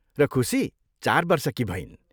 र खुसी चार वर्षकी भइन्।